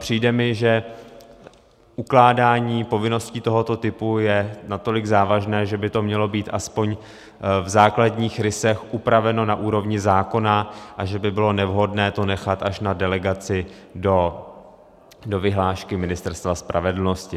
Přijde mi, že ukládání povinností tohoto typu je natolik závažné, že by to mělo být aspoň v základních rysech upraveno na úrovni zákona a že by bylo nevhodné to nechat až na delegaci do vyhlášky Ministerstva spravedlnosti.